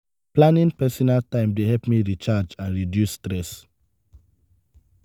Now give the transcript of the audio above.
planning personal time dey help me recharge and reduce stress.